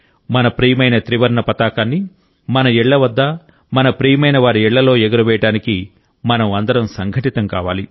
మన ప్రియమైన త్రివర్ణ పతాకాన్ని మన ఇళ్ల వద్ద మన ప్రియమైనవారి ఇళ్లలో ఎగురవేయడానికి మనం అందరం సంఘటితం కావాలి